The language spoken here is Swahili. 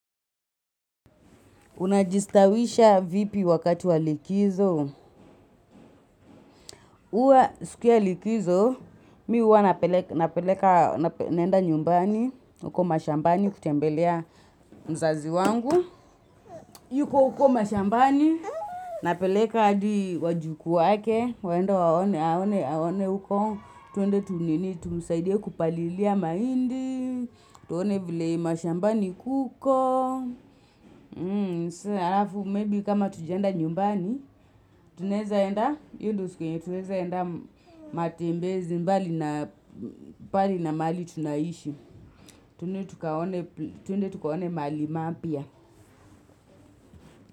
Unajistawisha vipi wakati wa likizo? Huwa siku ya likizo, mimi huwa napeleka, naenda nyumbani, huko mashambani kutembelea mzazi wangu. Yuko uko mashambani, napeleka hadi wajukuu wake, waenda waone huko, twende tunini, tumsaidie kupalilia mahindi, tuone vile mashambani kuko, Tuseme, harafu, maybe kama hatujaenda nyumbani, tunaweza enda, hiyo ndiyo siku tunaweza enda matembezi mbali na mahali tunaishi. Twende tukaone mahali mapya.